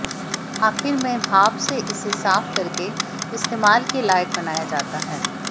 आखीर में भाप से इसे साफ करके इस्तेमाल के लायक बनाया जाता है